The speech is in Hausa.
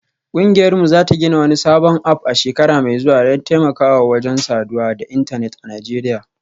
Kungiyarmu za ta gina wani sabon app a shekara mai zuwa don taimakawa wajen saduwa da intanet a Najeriya